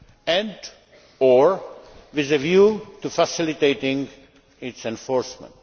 and or with a view to facilitating its enforcement.